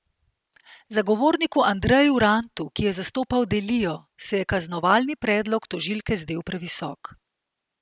Zagovorniku Andreju Rantu, ki je zastopal Delijo, se je kaznovalni predlog tožilke zdel previsok.